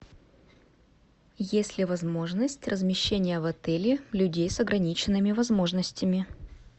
есть ли возможность размещения в отеле людей с ограниченными возможностями